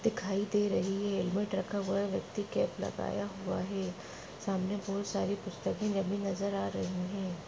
दिखाई दे रही हैं। व्यक्ति कैप लगाया हुआ हैं। सामने बहुत सारी पुस्तके मेही नजर आ रही हैं।